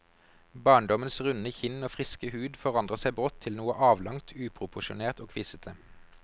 Barndommens runde kinn og friske hud forandrer seg brått til noe avlangt, uproporsjonert og kvisete.